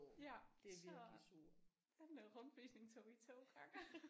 Ja så den der rundvisning tog vi 2 gange